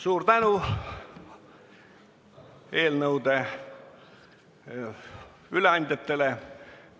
Suur tänu eelnõude üleandjatele!